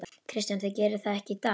Kristján: Þið gerið það ekki í dag?